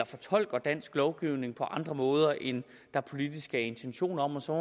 fortolker dansk lovgivning på andre måder end der politisk er intention om og så